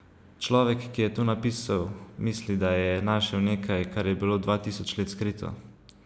Človek, ki je to napisal, misli, da je našel nekaj, kar je bilo dva tisoč let skrito.